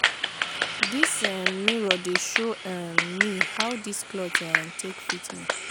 dis um mirror dey show um me how dis cloth um take fit me.